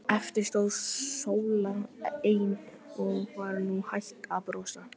Eftir stóð Sóla ein og var nú hætt að brosa.